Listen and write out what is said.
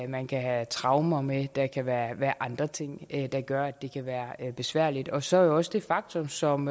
man kan have traumer med og der kan være være andre ting der gør at det kan være besværligt og så er der jo også det faktum som